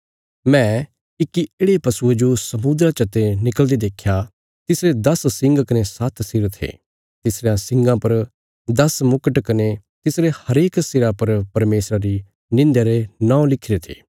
मैं इक्की येढ़े पशुये जो समुद्रा चते निकल़दे देख्या तिसरे दस सिंग कने सात्त सिर थे तिसरयां सिंगां पर दस मुकट कने तिसरे हरेक सिरा पर परमेशर री निंध्या रे नौं लिखिरे थे